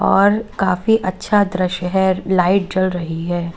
और काफी अच्छा दृश्य है लाइट जल रही है।